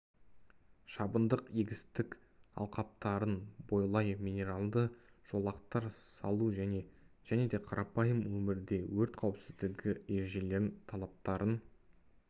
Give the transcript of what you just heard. шабындық егістік алқаптарын бойлай менералды жолақтар салу және де қарапайым өмірде өрт қауіпсіздігі ережелерінің талаптарын